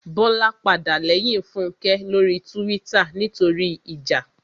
Bọ́lá padà lẹ́yìn Fúnkẹ́ lórí túwítà nítorí ìjà